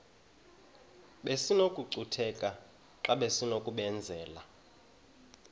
besinokucutheka xa besinokubenzela